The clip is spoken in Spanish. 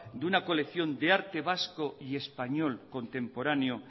de una colección de arte vasco y español contemporáneo